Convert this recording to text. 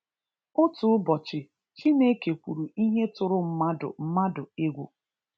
Otu ụbọchị Chineke kwuru ihe tụrụ mmadụ mmadụ egwu